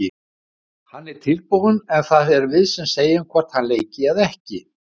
Hann er tilbúinn en það erum við sem segjum hvort hann leiki eða ekki.